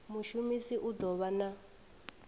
mushumisi u ḓo vha na